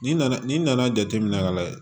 N'i nana n'i nana jateminɛ ka layɛ